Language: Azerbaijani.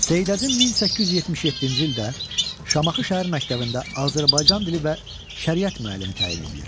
Seyid Əzim 1877-ci ildə Şamaxı Şəhər Məktəbində Azərbaycan dili və şəriət müəllimi təyin edilir.